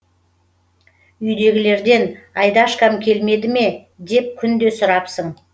үйдегілерден айдашкам келмеді ме деп күнде сұрапсын